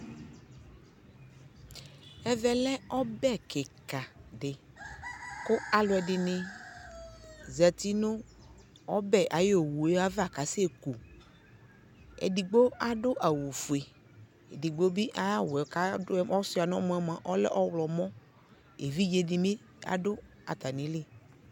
Ɛvɛ lɛ ɔbɛ kika di kʋ alʋɛdi ni zati nʋ ɔbɛ owʋ ava kasɛ ku Ɛdigbo adʋ awʋ fue, ɛdigbo bi ayawʋ yɛ kadʋ, kɔsʋa nɔ mɔ yɛ moa ɔlɛ ɔwlɔmɔ Evidze di bi ɔdʋ atami li